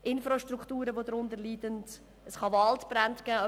Infrastrukturen leiden darunter, es kann Waldbrände geben.